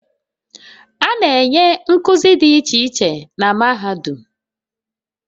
A na-enye nkuzi dị iche iche na mahadum